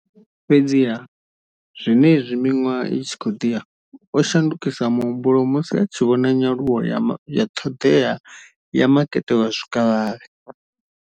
Fhedziha, zwenezwi miṅwaha i tshi khou ḓi ya, o shandukisa muhumbulo musi a tshi vhona nyaluwo ya ṱhoḓea ya makete wa zwikavhavhe.